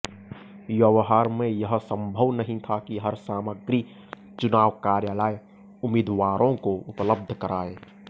व्यवहार में यह संभव नहीं था कि हर सामग्री चुनाव कार्यालय उम्मीदवारों को उपलब्ध कराए